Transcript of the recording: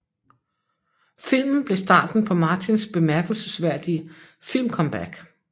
Filmen blev starten på Martins bemærkelsesværdige filmcomeback